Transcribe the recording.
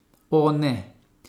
O, ne!